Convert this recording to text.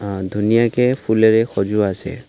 অ ধুনীয়াকে ফুলেৰে সজোৱা আছে।